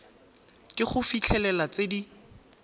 ke go fitlhelela tse di